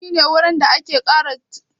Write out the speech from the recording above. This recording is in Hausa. Dok shi ne wurin da wanda ake ƙara ke zama a kotu